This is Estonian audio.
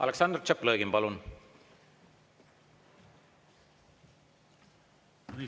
Aleksandr Tšaplõgin, palun!